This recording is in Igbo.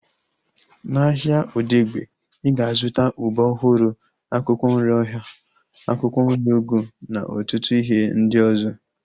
Na ahịa Odegbe, ị ga-azụta ube ọhụrụ, akwụkwọ nri ọha, akwụkwọ nri ugu na ọtụtụ ihe ndị ọzọ